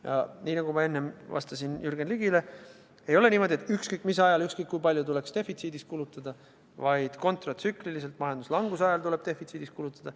Ja nagu ma enne vastasin Jürgen Ligile, ei ole niimoodi, et ükskõik mis ajal ja ükskõik kui palju tuleks defitsiidis kulutada, vaid kontratsükliliselt, majanduslanguse ajal tuleb defitsiidis kulutada.